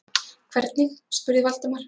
Hvernig? spurði Valdimar.